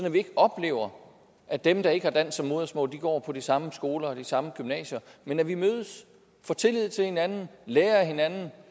at vi ikke oplever at dem der ikke har dansk som modersmål går på de samme skoler og de samme gymnasier men at vi mødes får tillid til hinanden lærer af hinandens